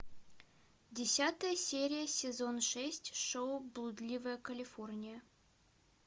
десятая серия сезон шесть шоу блудливая калифорния